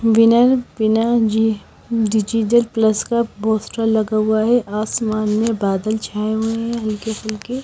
बिना G A digital plus का poster लगा हुआ है आसमान में बादल छाए हुए हैं हल्के फुल्के।